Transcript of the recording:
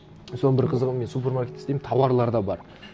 соның бір қызығы мен супермаркетте істеймін тауарлар да бар